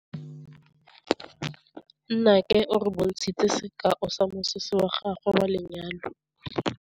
Nnake o re bontshitse sekaô sa mosese wa gagwe wa lenyalo.